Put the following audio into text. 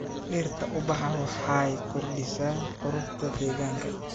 Dhirta ubaxa waxay kordhisaa quruxda deegaanka.